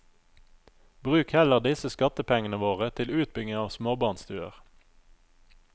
Bruk heller disse skattepengene våre til utbygging av småbarnstuer.